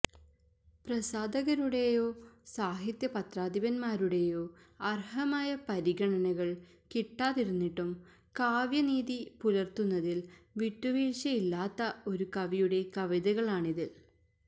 പ്രസാധാകരുടേയോ സാഹിത്യ പത്രാധിപന്മാരുടേയോ അര്ഹമായ പരിഗണനകള് കിട്ടാതിരുന്നിട്ടും കാവ്യനീതി പുലര്ത്തുന്നതില് വിട്ടുവീഴ്ചയില്ലാത്ത ഒരു കവിയുടെ കവിതകളാണിതില്